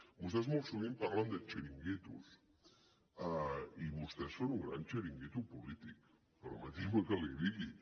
vostès molt sovint parlen de xiringuitos i vostès són un gran xiringuito polític permeti’m que l’hi digui